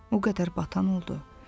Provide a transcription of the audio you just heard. O qədər batan oldu.